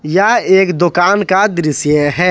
यह एक दुकान का दृश्य है।